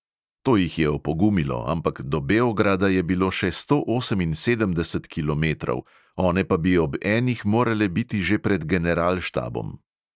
To jih je opogumilo, ampak do beograda je bilo še sto oseminsedemdeset kilometrov, one pa bi ob enih morale biti že pred generalštabom.